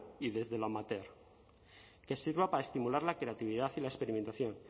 y desde lo amateur que sirva para estimular la creatividad y la experimentación